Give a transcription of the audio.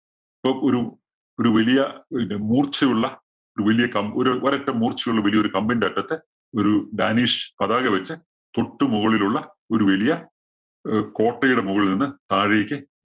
ഇപ്പോ ഒരു ഒരു വലിയ പിന്നെ മൂര്‍ച്ചയുള്ള ഒരു വലിയ കമ്പ് ഒരു ഒരറ്റം മൂര്‍ച്ചയുള്ള വലിയ ഒരു കമ്പിന്റെ അറ്റത്ത് ഒരു ഡാനിഷ് പതാക വച്ച് തൊട്ടുമുകളിലുള്ള ഒരു വലിയ അഹ് ഒരു കോട്ടയുടെ മുകളില്‍ നിന്ന് താഴേക്ക്